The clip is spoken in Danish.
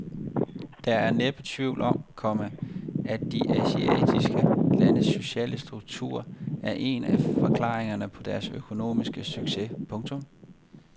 Der er næppe tvivl om, komma at de asiatiske landes sociale struktur er en af forklaringerne på deres økonomiske succes. punktum